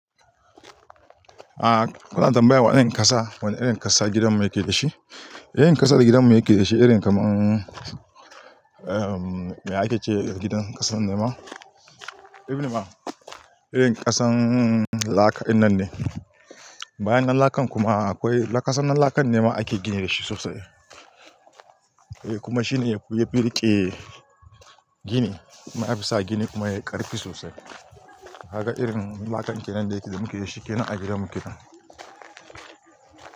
A'a, kuna tambaya waɗanne ƙasa, wane irin ƙasa gidanmu yake da shi. Irin ƙasar gidanmu yake da shi, irin kamar, um, me ake ce gidan ƙasan nema? Ebne ma, irin ƙasan laka irin nan ne. Bayan nan lakan kuma akwai, ƙasan nan lakan nema ake gini da shi sosai. Kuma shi ne ya fi riƙe gini, masu sa gini kuma ya yi ƙarfi sosai. Kaga irin lakan kenan ne da yake da muke da shi kenan a gidanmu kenan.